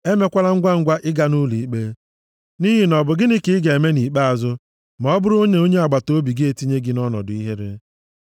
e mekwala ngwangwa ịga nʼụlọikpe, nʼihi na ọ bụ gịnị ka ị ga-eme nʼikpeazụ ma ọ bụrụ nʼonye agbataobi gị etinye gị nʼọnọdụ ihere?